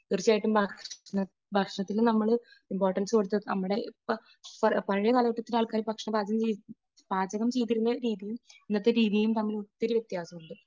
തീർച്ചയായിട്ടും ഭക്ഷണത്തിന് നമ്മൾ ഇമ്പോർട്ടൻസ് കൊടുത്ത് നമ്മുടെ ഇപ്പോൾ പഴയ കാലഘട്ടത്തിലെ ആൾക്കാർ ഭക്ഷണം പാകം പാചകം ചെയ്തിരുന്ന രീതിയും ഇന്നത്തെ രീതിയിൽ തമ്മിൽ ഒത്തിരി വ്യത്യാസമുണ്ട്.